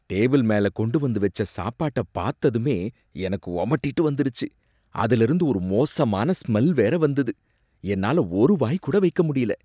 Table மேல கொண்டு வந்து வச்ச சாப்பாட்ட பார்த்ததுமே எனக்கு உமட்டிட்டு வந்துருச்சு. அதுல இருந்து ஒரு மோசமான ஸ்மெல் வேற வந்தது, என்னால ஒரு வாய் கூட வைக்க முடியல